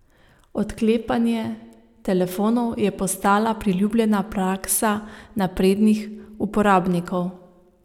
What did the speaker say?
Odklepanje telefonov je postala priljubljena praksa naprednih uporabnikov.